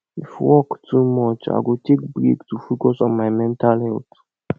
if work too much i go take break to focus on my mental health